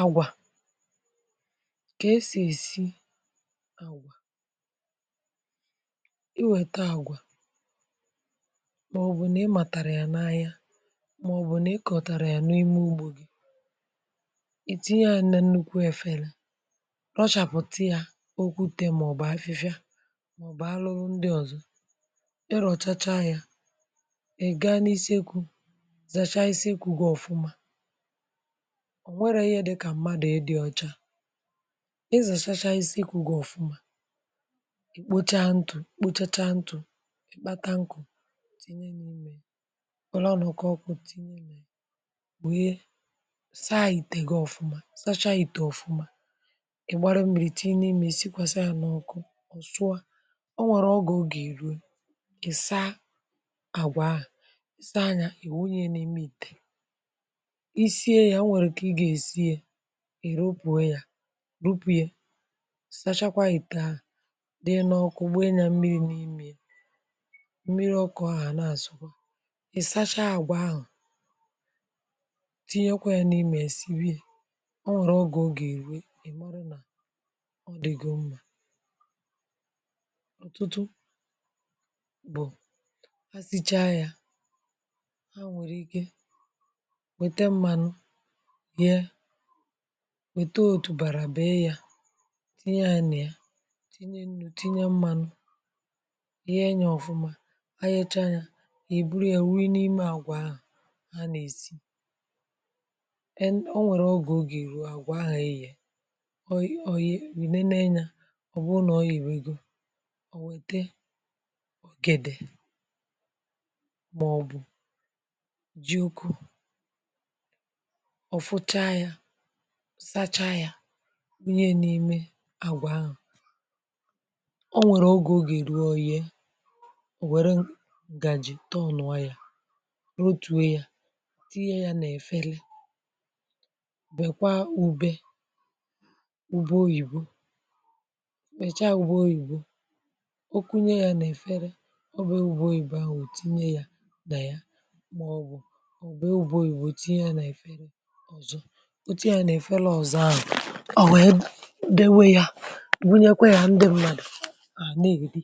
agwà kà esì èsi àgwà, i wète agwà màọbụ̀ nà ị màtàrà yà n’ahịa màọbụ̀ nà ị kọ̀tàra yà n’ime ugbȯ gị ite ya n’nnukwu efere rọchàpụ̀ta ya okwute màọbụ̀ afịfịa màọbụ̀ arụrụ ndị ọ̀zọ ịrọ̀chacha ya ị̀ gaa n’isiekwu̇ zàcha isiekwu̇ gị ọ̀fụma ọ̀ nwẹrẹ ihe dịkà mmadụ̀ ịdị ocha ịzàchachacha isi ekwù gị̀ ọfụma, i kpocha ntụ̀,i kpochacha ntụ̀, kpata nkụ̀ tìnye n’ime ya were ọnọ̀kà ọkụ tinye nà ya wee saa ìtè gị̀ ọfụma, sachaa ìtè ọfụma ị̀ gbara m̀mìrì tinye imè ya sikwàsa ya n’ọkụ ọ̀ sụọ o nwèrè oge ọ gà-èru ị̀ saa àgwà ahụ̀, ị̀ saa yȧ ị̀ wụnyẹ̇ ya n’ime ìtè isie ya onwere ka i ga esi ya irupùe ya rupu ye sachakwa ìtè ahụ̀ donye n’ọkụ gbanye ya mmiri n'imè ya mmiri ọku ahụ̀ a na-asụ̀kwa ị sachaa àgwà ahụ̀ tinyekwa yà na imè ya sibe ya, ọ nwere ogè ọ ga erùwe ị̀ mara nà ọ dị̀gò mmà ọ̀tụtụ bụ̀ ha sicha yȧ ha nwèrè ike wete mmanu rie wete otu̇bàrà bee yȧ tinye ya nà ya tinye nnù, tinye mmȧnụ̇ yee yȧ ọ̀fụma iyeecha yȧ ì buru yȧ wunye n’ime àgwà ahu a nà-èsi ọ nwèrè ogè oga erù àgwà ahụ̀ eyeė ọ̀ nene na-enye ọ̀ bụrụ nà ọ yebègò ò wète ogèdè màọ̀bụ̀ ji ukwu̇ ofucha ya sacha yȧ wunye ya n’ime àgwà ahụ̀ ọ nwèrè ogè oga èruo oyee ò wère ǹgàjì tọnụ̀ọ ya rotuo yȧ tiiye yȧ nà-efere bekwaa ubė ụbe oyìbo kpèchaa ụbe oyìbo okunye yȧ nà-èfere ọ be ụbe oyìbo ahụ̀ tinye yȧ nà ya màọ̀bụ̀ o be ụbe òyìbo tinye yȧ nà-èfere ọzọ, o tinye yȧ nà-èfere ọzọ ahu ọ wèe dowe yȧ bunyekwa yȧ ndị mmadụ̀ ànà èri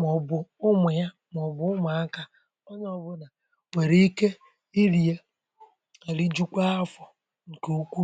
màọ̀bụ̀ ụmụ̀ yȧ màọ̀bụ̀ ụmụ̀ akȧ onye ọ bụ nà nwèrè ike iri̇ yȧ rijukwa afọ̀ ǹkè ukwu.